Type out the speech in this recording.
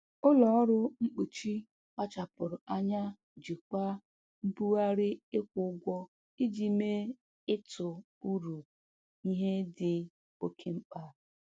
Ụlọ ọrụ mkpuchi kpachapụrụ anya jikwaa mbugharị ịkwụ ụgwọ iji mee ịtụ uru ihe dị oke mkpa.